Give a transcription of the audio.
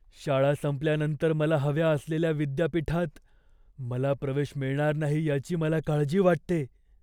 शाळा संपल्यानंतर मला हव्या असलेल्या विद्यापीठात मला प्रवेश मिळणार नाही याची मला काळजी वाटते.